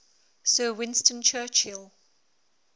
sir winston churchill